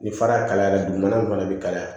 Ni fara kalayara dugumana fana bɛ kalaya